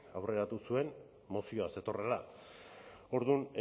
aurreratu zuen mozioa zetorrela orduan